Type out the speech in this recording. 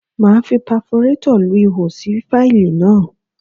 Máa fi paforétọ̀ lu ihò sí fáìlì náà.